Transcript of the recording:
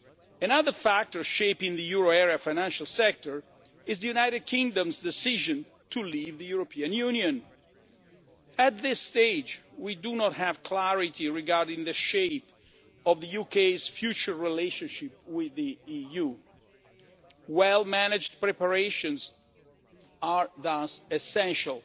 Another factor shaping the euro area financial sector is the United Kingdom's decision to leave the European Union. At this stage, we do not have clarity regarding the shape of the UK's future relationship with the EU. Well managed preparations are thus essential